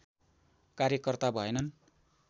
कार्यकर्ता भएनन्